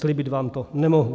Slíbit vám to nemohu.